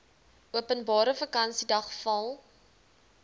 openbare vakansiedag val